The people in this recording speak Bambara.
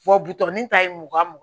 butɔron ta ye mugan mugan